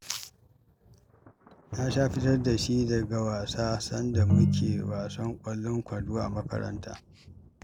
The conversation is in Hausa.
Na sha fitar da shi daga wasa, sanda muna ƙwallon kwando a makaranta